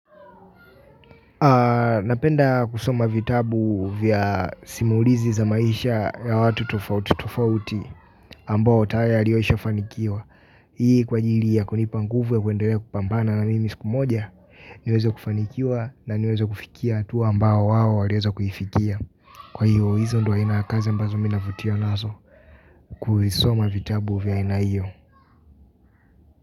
Napenda kusoma vitabu vya simulizi za maisha ya watu tofauti taofauti ambao tayalioisha fanikiwa. Hii kwa ajili ya kunipanguvu ya kuendele kupambana na mimi siku moja niweze kufanikiwa na niwezo kufikia hatua ambao wawo waliweza kuifikia. Kwa hiyo hizo ndio aina ya kazi ambazo mina vutiwa nazo. Kusoma vitabu vya aina hio.